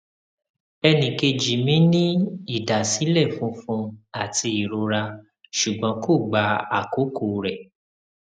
ẹnìkejì mi ní ìdásílẹ funfun àti ìrora ṣùgbọn kò gba àkókò rẹ